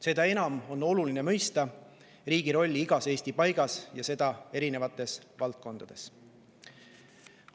Seda enam on oluline mõista riigi rolli igas Eesti paigas ja erinevates valdkondades.